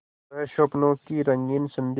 वह स्वप्नों की रंगीन संध्या